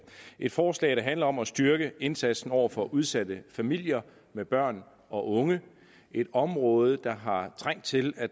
et forslag der handler om styrke indsatsen over for udsatte familier med børn og unge et område der har trængt til at